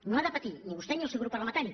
no han de patir ni vostè ni el seu grup parlamentari